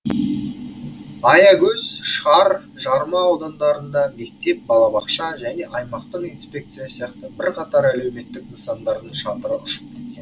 аягөз шар жарма аудандарында мектеп балабақша және аймақтық инспекция сияқты бірқатар әлеуметтік нысандардың шатыры ұшып кеткен